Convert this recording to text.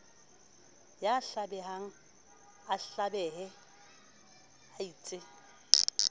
ya hlabehang a hlabehe eitse